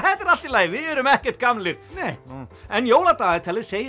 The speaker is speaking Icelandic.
þetta er allt í lagi við erum ekkert gamlir en jóladagatalið segir